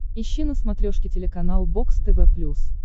ищи на смотрешке телеканал бокс тв плюс